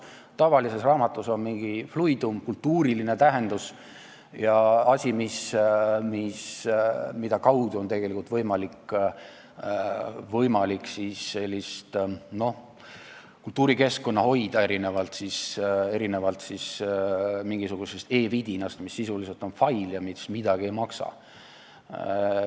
Tavalises raamatus on mingi fluidum, kultuuriline tähendus, see on asi, mille kaudu on võimalik kultuurikeskkonda hoida, erinevalt mingisugusest e-vidinast, mis sisuliselt on fail ja midagi ei maksa.